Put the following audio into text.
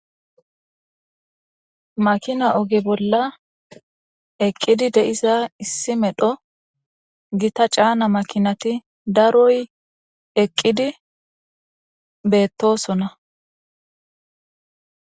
Makina oge bola eqidi de'za issi medho gita c'ana makinati daroy eqidi betosona.